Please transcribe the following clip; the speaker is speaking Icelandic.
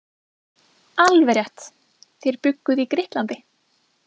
Alveg rétt, þér bjugguð í Grikklandi.